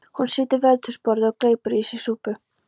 Hún situr við eldhúsborðið og gleypir í sig súpu.